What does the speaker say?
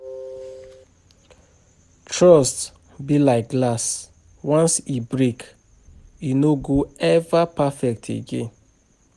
Trust be like glass, once e break, e no go ever perfect again.